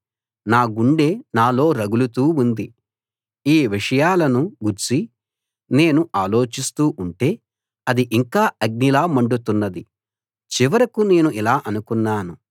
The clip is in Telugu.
నా గుండె నాలో రగులుతూ ఉంది ఈ విషయాలను గూర్చి నేను ఆలోచిస్తూ ఉంటే అది ఇంకా అగ్నిలా మండుతున్నది చివరకు నేను ఇలా అన్నాను